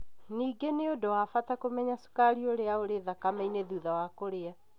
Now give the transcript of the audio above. Ningĩ nĩ ũndũ wa bata kũmenya cukari ũrĩa ũrĩ thakame-inĩ thutha wa kũrĩa